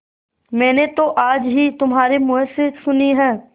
मैंने तो आज ही तुम्हारे मुँह से सुनी है